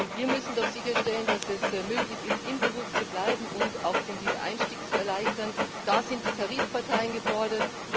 Wir müssen doch sicherstellen, dass es möglich ist, im Beruf zu bleiben, und auch den Wiedereinstieg erleichtern. Da sind die Tarifparteien gefordert.